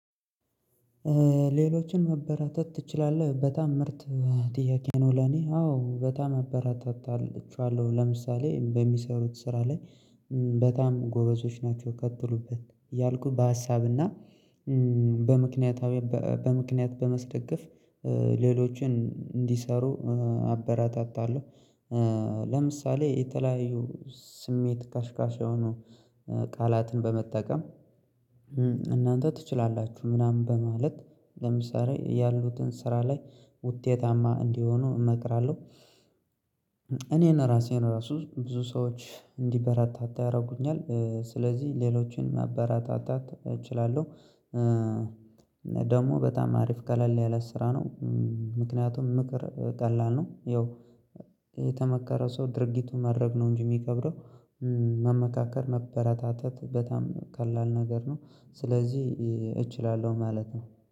ሌሎችን መበራታት ትችላለህ በጣም ምርት ጥያቄ ነው ለኔ አዎ በጣም አበራታቸዋለው ለምሳሌ በሚሰሩት ስራ ላይ በጣም ጎበዞች ናቸው ከትሉበት ያልኩ በሀሳብና በምክንያታዊ በምክንያት በማስደገፍ ሌሎችን እንዲሰሩ አበራታታለሁ። ለምሳሌ የተለያዩ ስሜት ካስካሽ የሆኑ ቃላትን በመጠቀም እናንተ ትችላላችሁ ምናምን በማለት ለምሳሌ ያሉትን ስራ ላይ ውጤታማ እንዲሆኑ እመክራለሁ። እኔን ራሴን ራሱ ብዙ ሰዎች እንዲበረታታ ያደርጉኛል ስለዚህ ሌሎችን ማበረታታት እችላለሁ። ደግሞ በጣም አሪፍ ቀለል ያለ ስራ ነው። ምክንያቱም ምክር ቀላል ነው ያው የተመከረ ሰው ድርጊቱ ማድረግ ነው እንጂ የሚከብደው መመካከር ማበረታታት በጣም ቀላል ነገር ነው። ስለዚህ እችላለሁ ማለት ነው።